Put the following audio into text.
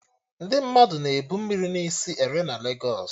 Ndị mmadụ na-ebu mmiri na isi ere na Legos